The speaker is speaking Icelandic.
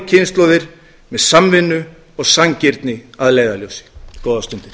kynslóðir með samvinnu og sanngirni að leiðarljósi góðar stundir